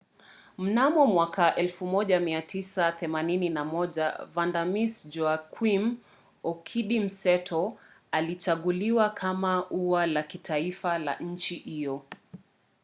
mnamo 1981 vanda miss joaquim okidi mseto lilichaguliwa kama ua la kitaifa la nchi hiyo